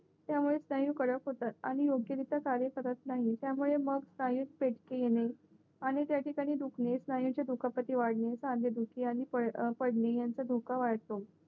त्यामुळे स्नायू कडक होतात आणि योग्यरीत्या कार्य करत नाही त्यामुळे मग स्नायू सत्कीन आणि त्याठिकाणी दुखणे स्नायू धुखापती वाढली खांदे दुःखी आणि पडणे यांचा दुःख वाढतो